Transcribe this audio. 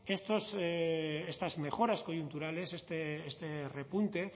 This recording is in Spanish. estas mejoras coyunturales este repunte